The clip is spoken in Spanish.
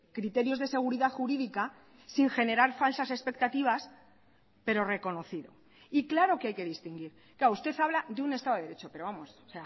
criterios de seguridad jurídica sin generar falsas expectativas pero reconocido y claro que hay que distinguir claro usted habla de un estado de derecho pero vamos o